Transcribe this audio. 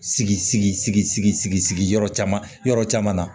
Sigi sigi sigi sigi yɔrɔ caman yɔrɔ caman na